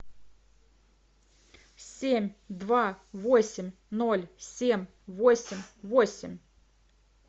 семь два восемь ноль семь восемь восемь